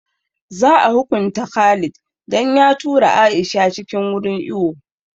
Za a hukunta Khalid dan ya tura Aisha cikin wurin iwo